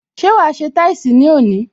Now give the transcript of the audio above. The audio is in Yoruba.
Ṣé wa se táìsì ní òní?